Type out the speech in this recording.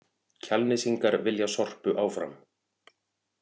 Kjalnesingar vilja Sorpu áfram